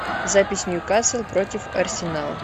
запись ньюкасл против арсенал